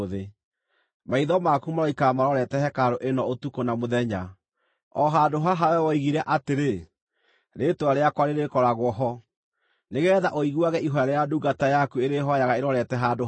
Maitho maku maroikara marorete hekarũ ĩno ũtukũ na mũthenya, o handũ haha wee woigire atĩrĩ, ‘Rĩĩtwa rĩakwa rĩrĩkoragwo ho,’ nĩgeetha ũiguage ihooya rĩrĩa ndungata yaku ĩrĩhooyaga ĩrorete handũ haha.